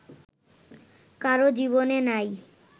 কারো জীবনে নাই